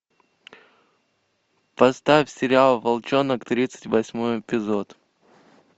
поставь сериал волчонок тридцать восьмой эпизод